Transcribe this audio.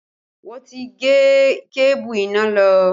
Wọn ti gé kébù iná lọ